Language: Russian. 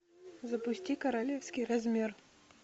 запусти королевский размер